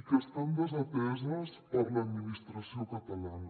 i que estan desateses per l’administració catalana